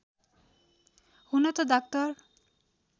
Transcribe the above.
हुन त डाक्टर